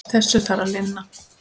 Þessu þarf að linna.